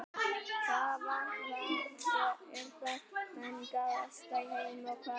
Hvaða vatn er það mengaðasta í heimi og hvar er það?